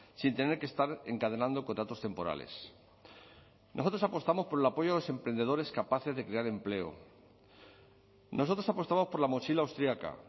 sin tener que estar encadenando contratos temporales nosotros apostamos por el apoyo a los emprendedores capaces de crear empleo nosotros apostamos por la mochila austriaca